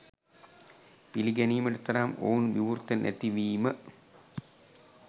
පිළිගැනීමට තරම් ඔවුන් විවෘත නැති වීම